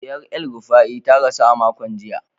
Diyar El-Rufai ta rasu a makon jiya.